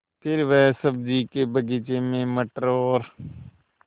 फिर वह सब्ज़ी के बगीचे में मटर और